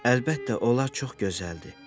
Əlbəttə, onlar çox gözəldir.